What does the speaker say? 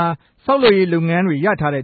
ာ ဆောက်လုပ်ရေးလုပ်ငန်းတြေ ရထားတဲ့